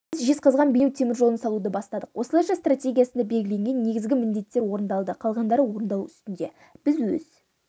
біз жезқазған-бейнеу теміржолын салуды бастадық осылайша стратегиясында белгіленген негізгі міндеттер орындалды қалғандары орындалу үстінде біз өз